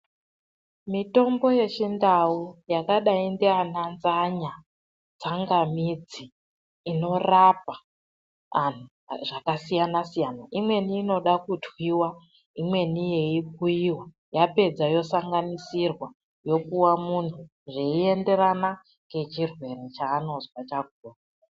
Mitombo yechindau yakadai ndiana nzanya, tsanganidzi inorapa anhu zvakasiyana -siyana. Imweni inoda kutwiwa, imweni yeikuiwa yapedza yosanganisirwa yopuwa munhu zveienderana ngechirwere chanozwa chakhona.